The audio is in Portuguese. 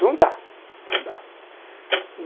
Não dá. Não dá.